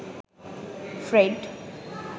Fred